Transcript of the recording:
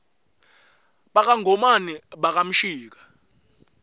baka ngomane baka mshika